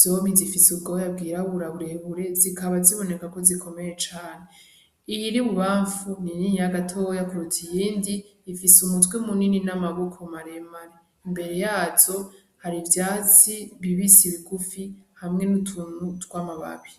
zompi zifise ubwoya bwirabura burebure zibaka ziboneka ko zikomeye cane. Iyiri ububamfu ni niniya gatoya kuruta iyindi ifise umutwe munini nababoko maremare imbere yazo hari ivyatsi bibisi bigufi hamwe nutuntu twamababi.